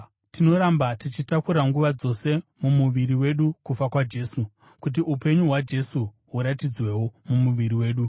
Tinoramba tichitakura nguva dzose mumuviri wedu kufa kwaJesu, kuti upenyu hwaJesu huratidzwewo mumuviri wedu.